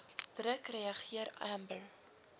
druk reageer amber